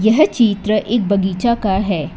यह चित्र एक बगीचा का है।